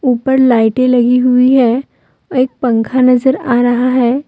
ऊपर लाइटें लगी हुई है एक पंखा नजर आ रहा है।